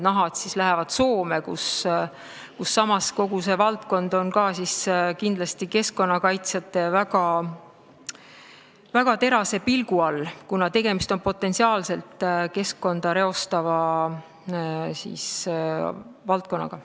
Nahad lähevad nüüd Soome, kus kogu see valdkond on kindlasti keskkonnakaitsjate väga terase pilgu all, kuna tegemist on potentsiaalselt keskkonda reostava valdkonnaga.